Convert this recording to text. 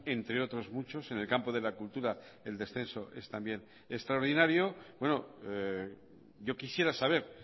entre otros muchos en el campo de la cultura el descenso es también extraordinario yo quisiera saber